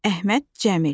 Əhməd Cəmil.